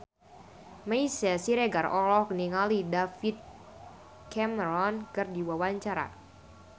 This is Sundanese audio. Meisya Siregar olohok ningali David Cameron keur diwawancara